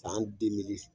San